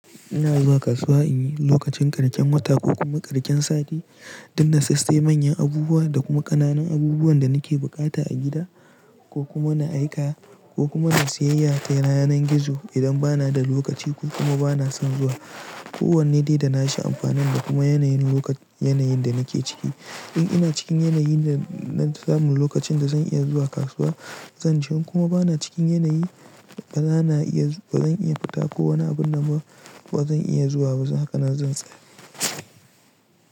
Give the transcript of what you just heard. Ina zuwa kasuwa in yi lokacin ƙarshen wata ko kuma ƙarshen sati don na sassai manyan abubuwa da kuma ƙananan abubuwan da nake buƙata a gida ko kuma na aika ko kuma na siyayya ta yanar gizo idan ba na da lokaci ko kuma ba na son zuwa. Ko wanne dai da na shi amfanin da kuma yanayin lokac yanayin da nake ciki. In ina cikin yanayin da na samu lokacin da zan iya zuwa kasuwa zan je kuma ba na cikin yanayi ba zan iya fita ko wani abun na ma ba zan iya zuwa ba haka nan zan tsaya.